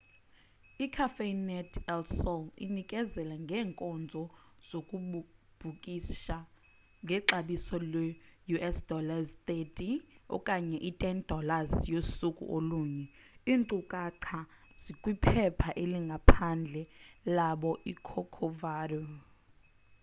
i-cafenet el sol inikezela ngeenkonzo zokubhukisha ngexabiso leus$30 okanye i$10 yosuku olunye; iinkcukacha zikwiphepha elingaphandle labo icorcovado